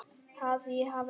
Að ég hafi átt.?